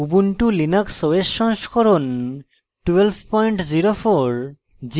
ubuntu linux os সংস্করণ 1204